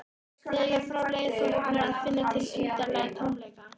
Þegar frá leið fór hann að finna til undarlegs tómleika.